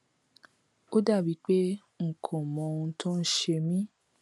ó dàbí pé n kò mọ ohun tó ń ṣe mí